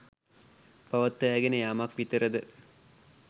පවත්වාගෙන යාමක් විතරද?